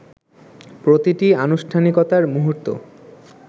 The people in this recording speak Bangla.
প্র্রতিটি আনুষ্ঠানিকতার মুহুর্ত